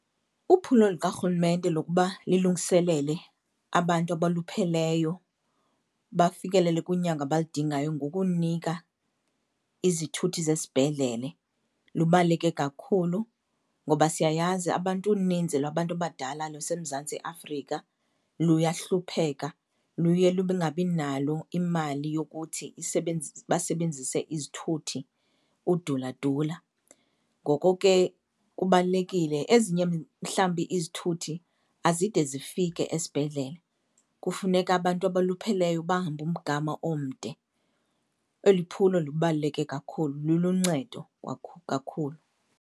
Uphulo lukarhulumente lokuba lilungiselele abantu abalupheleyo bafikelele kunyango abalidingayo ngokunika izithuthi zesibhedlele lubaluleke kakhulu. Ngoba siyayazi abantu uninzi lwabantu abadala luseMzantsi Afrika luyahlupheka, luye lubinganalo imali yokuthi basebenzise izithuthi, uduladula, ngoko ke kubalulekile. Ezinye mhlawumbi izithuthi azide zifike esibhedlele, kufuneka abantu abolupheleyo bahambe umgama omde. Eli phulo lubaluleke kakhulu, luluncedo kakhulu.